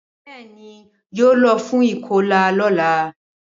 Bẹẹni yo lọ fún ikọla lọla